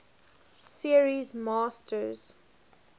series masters